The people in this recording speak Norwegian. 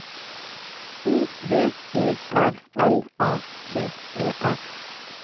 O V E R L A T E R